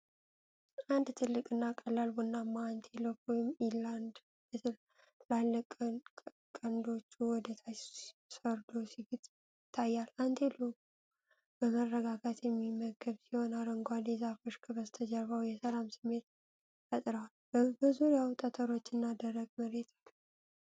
አንድ ትልቅና ቀላል ቡናማ አንቴሎፕ (ኢላንድ) በትላልቅ ቀንዶቹ ወደታች ሰርዶ ሲግጥ ይታያል። አንቴሎፑ በመረጋጋት የሚመገብ ሲሆን፣ አረንጓዴ ዛፎች ከበስተጀርባው የሰላም ስሜት ፈጥረዋል። በዙሪያው ጠጠሮችና ደረቅ መሬት አለ።